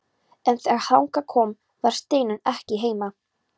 En þegar þangað kom var Steinunn ekki heima.